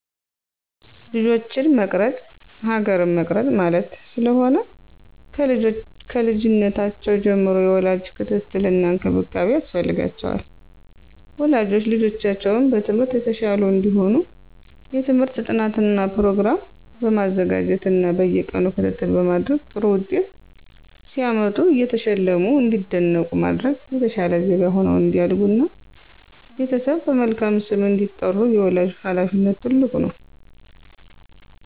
ልጆችን መቅረፅ ሀገር መቅረፅ ማለት ስለሆነ። ከልጅነታቸው ጀምሮ የወላጅ ክትትል እና እንክብካቤ ያስፈልጋቸዋል። ወላጆች ልጆቻቸው በትምህርት የተሻሉ እንዲሆኑ የትምህርት ጥናት ፕሮግራም በማዘጋጀት እና በየቀኑ ክትትል በማድረግ ጥሩ ውጤት ሲያመጡ እየሸለሙ እንዲነቃቁ በማድረግ የተሻለ ዜጋ ሁነው እንዲያድጉ እና ቤተሰብን በመልካም ስም እንዲያስጠሩ የወላጅ ሀላፊነት ትልቅ ነው።